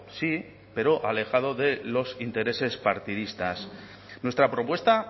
sí pero alejado de los intereses partidistas nuestra propuesta